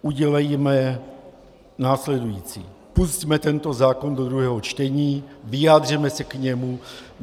Udělejme následující: Pusťme tento zákon do druhého čtení, vyjádřeme se k němu.